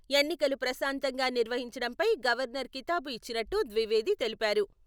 ఎన్నికలు ప్రశాంతంగా నిర్వహించడంపై గవర్నర్ కితాబు ఇచ్చినట్టు ద్వివేది తెలిపారు.